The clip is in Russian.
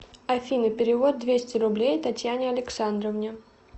афина перевод двести рублей татьяне александровне